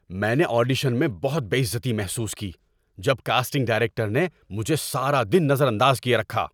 میں نے آڈیشن میں بہت بے عزتی محسوس کی جب کاسٹنگ ڈائریکٹر نے مجھے سارا دن نظر انداز کیے رکھا۔